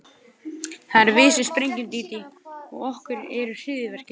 Það erum við sem sprengjum, Dídí, og okkar eru hryðjuverkin.